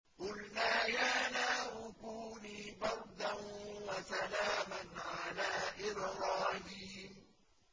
قُلْنَا يَا نَارُ كُونِي بَرْدًا وَسَلَامًا عَلَىٰ إِبْرَاهِيمَ